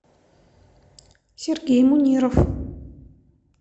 сергей муниров